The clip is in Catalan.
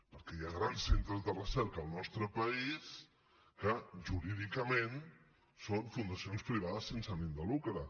perquè hi ha grans centres de recerca al nostre país que jurídicament són fundacions privades sense ànim de lucre